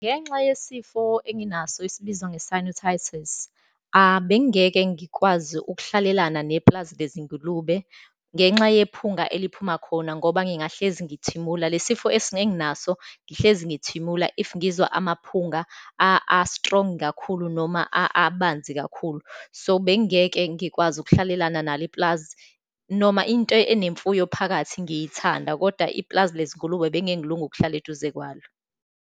Ngenxa yesifo enginaso esibizwa nge-sinutitis, abengingeke ngikwazi ukuhlalelana nepulazi lezingulube ngenxa yephunga eliphuma khona ngoba ngingahlezi ngithimula. Le sifo enginaso ngihlezi ngithimula if ngizwa amaphunga a-strong kakhulu, noma abanzi kakhulu. So, bengeke ngikwazi ukuhlalelana nalo ipulazi, noma into enemfuyo phakathi ngiyithanda, kodwa ipulazi lezingulube bengeke ngilunge ukuhlala eduze kwalo.